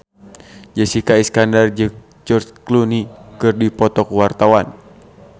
Jessica Iskandar jeung George Clooney keur dipoto ku wartawan